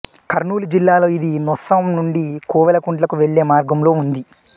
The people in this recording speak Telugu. కర్నూలు జిల్లాలో ఇది నొస్సం నుండి కోవెలకుంట్లకు వెళ్ళే మార్గంలో ఉంది